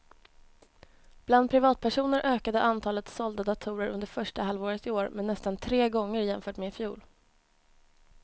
Bland privatpersoner ökade antalet sålda datorer under första halvåret i år med nästan tre gånger jämfört med i fjol.